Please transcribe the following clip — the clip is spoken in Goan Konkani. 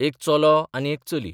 एक चलो आनी एक चली.